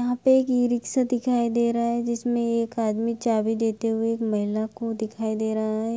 यहाँ पे एक इ-रिखशा दिखाई दे रहा है जिसमे एक आदमी चाबी देते हुए एक महिला को दिखाई दे रहा है